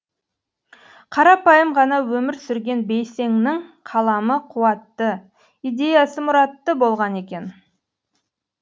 қарапайым ғана өмір сүрген бейсеңнің қаламы қуатты идеясы мұратты болған екен